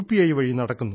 I വഴി നടക്കുന്നു